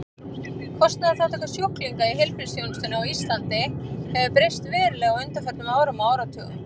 Kostnaðarþátttaka sjúklinga í heilbrigðisþjónustunni á Íslandi hefur breyst verulega á undanförnum árum og áratugum.